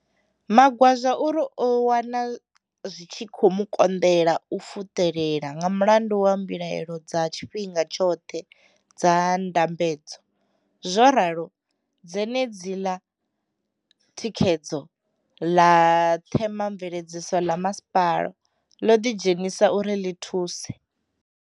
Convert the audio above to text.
Magwaza uri o wana zwi tshi kho mu konḓela u fuṱelela nga mulandu wa mbilaelo dza tshifhinga tshoṱhe dza ndambedzo. Zwo ralo, dzenedziḽa thikhedzo ḽa ṱhemamveledziso ḽa masipala ḽo ḓi dzhenisa uri ḽi thuse.